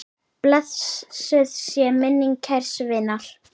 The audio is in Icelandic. Blessuð sé minning kærs vinar.